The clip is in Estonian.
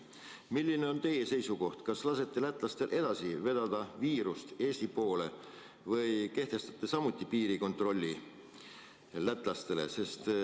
Milline on teie seisukoht: kas te lasete lätlastel edaspidigi vedada viirust Eestisse või kehtestate lätlastele samuti piirikontrolli?